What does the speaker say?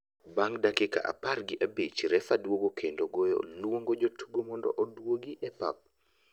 Bang' dakika apar gi abich ,refa duogo kendo goyo luongo jotugo mondo oduogi e pap.